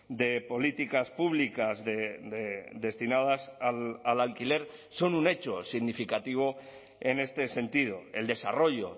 de políticas públicas destinadas al alquiler son un hecho significativo en este sentido el desarrollo